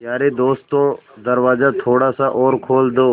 यारे दोस्तों दरवाज़ा थोड़ा सा और खोल दो